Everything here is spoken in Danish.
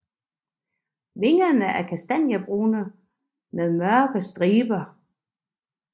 Vingerne er kastanjebrune med mørkere striber